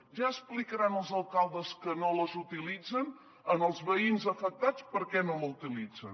ja explicaran els alcaldes que no les utilitzen als veïns afectats per què no la utilitzen